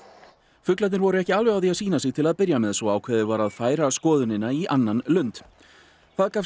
fuglarnir voru ekki alveg á því að sýna sig til að byrja með svo ákveðið var að færa skoðunina í annan lund það gafst